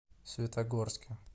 светогорске